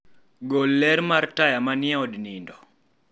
gol ler mar taya manie od nindo